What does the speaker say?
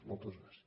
moltes gràcies